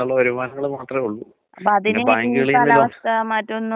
ഈ വാതാണെങ്കി രണ്ട് ടൈപ്പ് ഉണ്ടന്ന് പറയും, നിനക്കറിയോ?